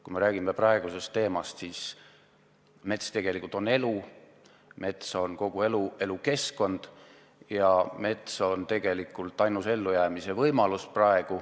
Kui me räägime tänasest teemast, siis mets tegelikult on elu, mets on kogu elukeskkond ja mets, õigemini loodus, on tegelikult praegu ainus ellujäämise võimalus.